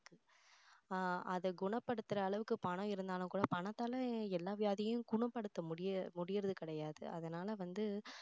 ஆஹ் அதை குணப்படுத்துற அளவுக்கு பணம் இருந்தாலும் கூட பணத்தால எல்லா வியாதியும் குணப்படுத்த முடிய~ முடியுறது கிடையாது அதனால வந்து